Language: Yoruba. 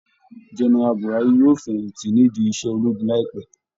General Buhari yóò fẹ̀yìn tí nídìí iṣẹ́ ológun láìpẹ́